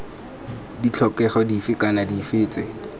ditlhokego dife kana dife tse